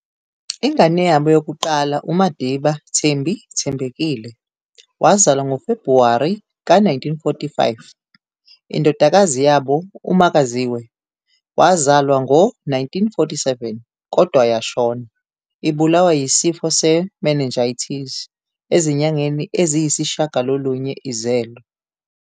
Ingane yabo yokuqala uMadiba "Thembi" Thembekile, wazalwa ngoFebruwari ka 1945, indodakazi yabo uMakaziwe, wazalwa ngo-1947, kodwa yashona, ibulawa yisifo se-meningitis ezinyangeni eziyisishagalolunye izelwe.